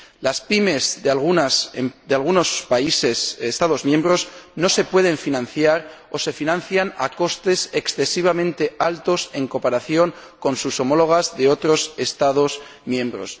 Las PYME de algunos Estados miembros no se pueden financiar, o se financian a costes excesivamente altos en comparación con sus homólogas de otros Estados miembros.